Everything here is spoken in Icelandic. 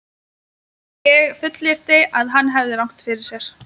Ég fullyrti, að hann hefði rangt fyrir sér.